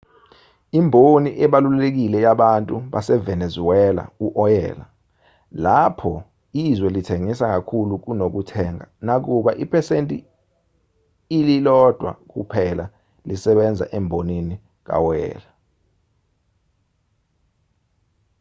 imboni ebalulekile yabantu basevenezuela u-oyela lapho izwe lithengisa kakhulu kunokuthenga nakuba iphesenti ililodwa kuphela lisebenza embonini kawoyela